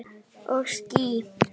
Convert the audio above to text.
Og ský.